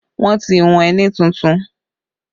Wọn ti hùn ẹní tuntun